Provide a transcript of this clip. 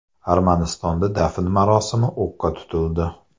Armanistonda dafn marosimi o‘qqa tutildi.